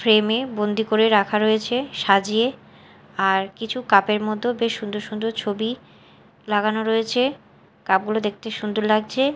Frame -এ বন্দি করে রাখা রয়েছে সাজিয়ে আর কিছু কাপ -এর মতো বেশ সুন্দর সুন্দর ছবি লাগানো রয়েছে কাপ -গুলো দেখতে সুন্দর লাগছে।